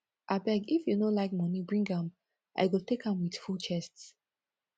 abeg if you no like money bring am i go take am with full chest